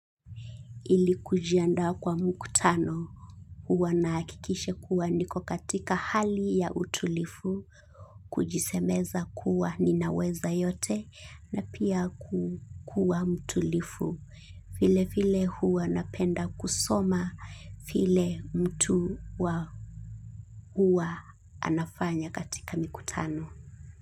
Ili kujiandaa kwa mkutano huwa nahakikisha kuwa niko katika hali ya utulivu, kujisemeza kuwa ninaweza yote na pia kukuwa mtulivu, vile vile huwa napenda kusoma vile mtu huwa anafanya katika mkutano.